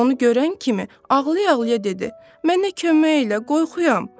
Onu görən kimi ağlaya-ağlaya dedi: Mənə kömək elə, qorxuyam.